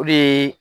O de ye